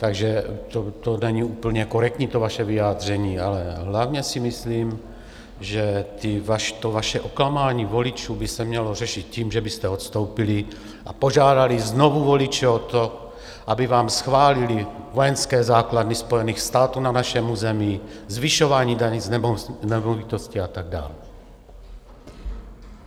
Takže to není úplně korektní, to vaše vyjádření, ale hlavně si myslím, že to vaše oklamání voličů by se mělo řešit tím, že byste odstoupili a požádali znovu voliče o to, aby vám schválili vojenské základny Spojených států na našem území, zvyšování daní z nemovitosti a tak dál.